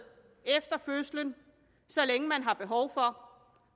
efter fødslen så længe man har behov for